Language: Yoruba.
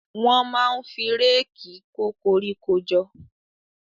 Wọ́n máa ń fi réèkì kó koríko jọ.